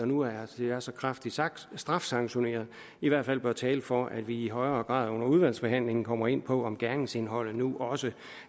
nu er er så kraftigt strafsanktioneret i hvert fald bør tale for at vi i højere grad under udvalgsbehandlingen kommer ind på om gerningsindholdet nu også